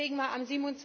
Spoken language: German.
Deswegen war